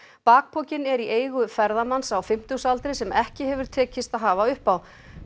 bakpokinn er í eigu ferðamanns á fimmtugsaldri sem ekki hefur tekist að hafa uppi á